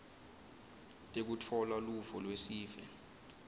tekutfola luvo lwesive